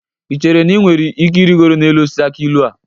Ị chere na ị nwere ike irigoro n'elu osisi akị ilu a?